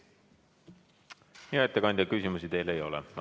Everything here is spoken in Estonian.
Hea ettekandja, küsimusi teile ei ole.